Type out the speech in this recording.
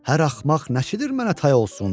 Hər axmaq nəçidir mənə tay olsun?